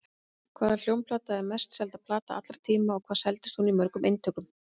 Hvaða hljómplata er mest selda plata allra tíma og hvað seldist hún í mörgum eintökum?